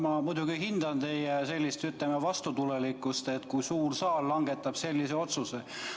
Ma muidugi hindan teie vastutulelikkust lubada suurel saalil see otsus langetada.